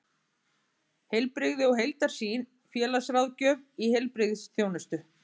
Heilbrigði og heildarsýn: félagsráðgjöf í heilbrigðisþjónustu.